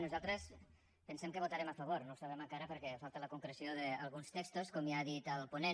nosaltres pensem que hi votarem a favor no ho sabem encara perquè falta la concreció d’alguns textos com ja ha dit el ponent